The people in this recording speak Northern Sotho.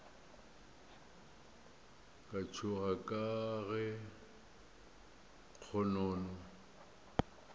ka tšhoga ka ge kgonono